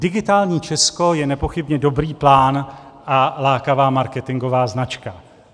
Digitální Česko je nepochybně dobrý plán a lákavá marketingová značka.